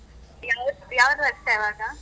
ಯಾವುದು ಯಾವುದು ವರ್ಷ ಇವಾಗ?